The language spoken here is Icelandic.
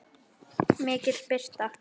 MIKIL BIRTA